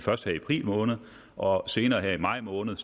først her i april måned og senere i maj måned